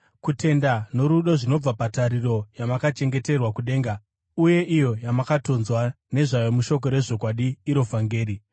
kutenda norudo zvinobva patariro yamakachengeterwa kudenga uye iyo yamakatonzwa nezvayo mushoko rezvokwadi, iro vhangeri